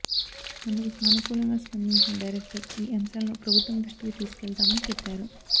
అందుకు సానుకూలంగా స్పందించిన డైరెక్టర్ ఈ అంశాలను ప్రభుత్వం దృష్టికి తీసుకువెళ్తామని చెప్పారు